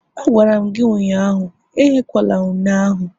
Agwara m gi ụnyahụ, ehekwala une ahu!